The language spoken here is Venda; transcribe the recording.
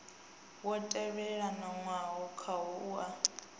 wo tendelanwaho khawo a u